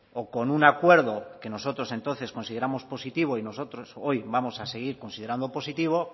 o con un acuerdo que nosotros entonces consideramos positivos y nosotros hoy vamos a seguir considerando positivo